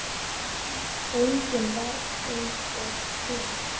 Engin var eins og hún.